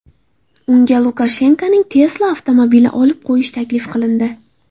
Unga Lukashenkoning Tesla avtomobilini olib qo‘yish taklif qilindi.